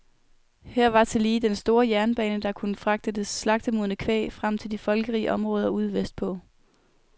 Her var tillige den store jernbane, der kunne fragte det slagtemodne kvæg frem til de folkerige områder ude vestpå.